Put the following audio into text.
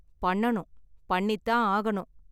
பண்ணனும், பண்ணி தான் ஆகணும்.